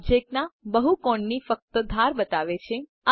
ઑબ્જેક્ટના બહુકોણની ફક્ત ધાર બતાવે છે